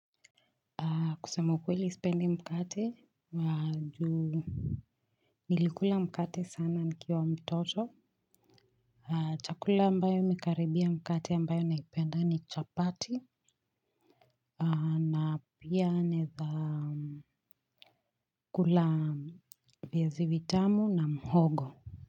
Kusema ukweli sipendi mkate wa njugu. Nilikula mkate sana nikiwa mtoto. Chakula ambayo imekaribia mkate ambayo naipenda ni chapati. Na pia naeza kula viazi vitamu na mhogo.